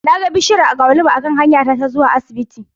Na ga bishiyar agwaluma a kan hanya ta ta zuwa asibiti